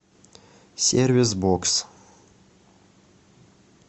сервис бокс